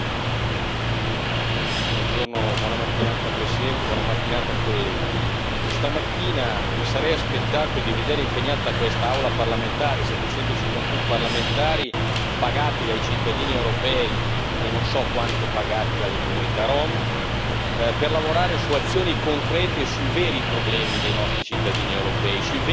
Signora Presidente, onorevoli colleghi, stamattina mi sarei aspettato di vedere impegnata quest'Aula parlamentare 751 parlamentari pagati dai cittadini europei, e non so quanti pagati dalle comunità rom per lavorare su azioni concrete sui veri problemi dei nostri cittadini europei, sui veri fragili